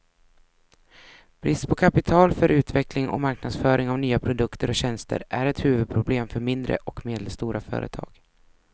Brist på kapital för utveckling och marknadsföring av nya produkter och tjänster är ett huvudproblem för mindre och medelstora företag.